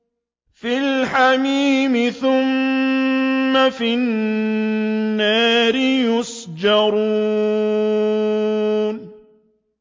فِي الْحَمِيمِ ثُمَّ فِي النَّارِ يُسْجَرُونَ